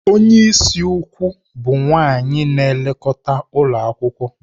Onye isi ukwu bụ nwanyị na-elekọta ụlọ akwụkwọ.